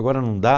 Agora não dá.